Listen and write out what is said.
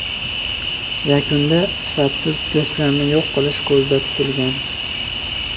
Yakunda sifatsiz go‘shtlarni yo‘q qilish ko‘zda tutilgan.